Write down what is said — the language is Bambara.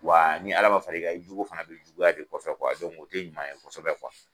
Wa ni Ala ma far'i kan, i jugu fana bi juguya k'i kɔfɛ o tɛ ɲuman ye kosɛbɛ